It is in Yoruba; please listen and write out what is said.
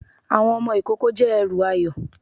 Àwọn ọmọ ìkoko jẹ èrù ayó